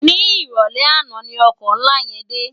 Ni iròlè àná ni òkò nlá yèn dé